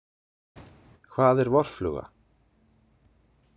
Hvað er vorfluga.